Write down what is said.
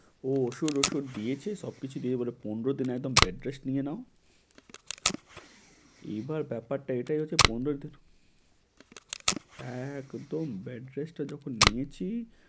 ও ওষ~ ঔষুধ দিয়েছে, সবকিছু দিয়ে বলে পনরো দিন একদম bed rest নিয়ে নাও। এবার ব্যাপারটা এটাই হচ্ছে পনরো, একদম best rest এ যখন নিয়েছি।